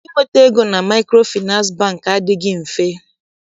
Inweta ego na Maịkrofịnansị Bankị adịghị mfe.